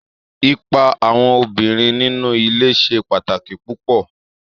Ipa àwọn obìnrin nínú ilé ṣe pàtàkì púpọ̀